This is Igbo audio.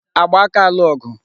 Agba aka alụ ọgụ?